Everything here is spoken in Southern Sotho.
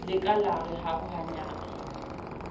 le ka la re arohanyang